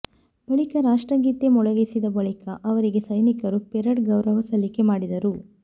ಬಳಿಕ ರಾಷ್ಟ್ರಗೀತೆ ಮೊಳಗಿಸಿದ ಬಳಿಕ ಅವರಿಗೆ ಸೈನಿಕರು ಪರೇಡ್ ಗೌರವ ಸಲ್ಲಿಕೆ ಮಾಡಿದರು